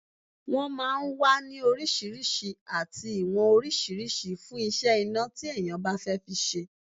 Wọ́n máa ń wà ní oríṣiríṣi àti ìwọ̀n oríṣiríṣi fún iṣẹ́ iná tí èèyàn bá fẹ́ fi ṣe